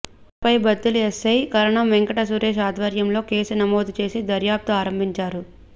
ఘటనపై బత్తిలి ఎస్సై కరణం వెంకట సురేష్ ఆధ్వర్యంలో కేసు నమోదు చేసి దర్యాప్తు ఆరంభించారు